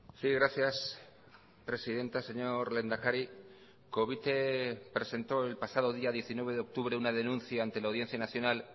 sí gracias presidenta señor lehendakari covite presentó el pasado día diecinueve de octubre una denuncia ante la audiencia nacional